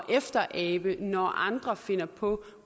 efterabe når andre finder på